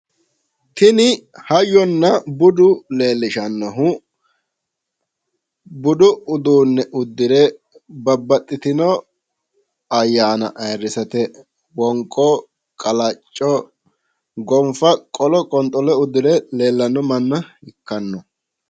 Tini hayyonna budu leellishannohu budu uduunne uddire babbaxxitino ayyaana aayiirrisate wonqo qalacco gonfa qolo qonxolo uddire leellanno manna ikkanno